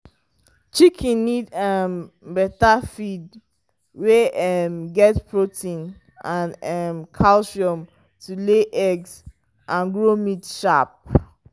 chicken need um better feed wey um get protein and um calcium to lay egg and grow meat sharp.